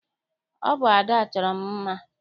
Ọ bụ Ada chọrọ m mma.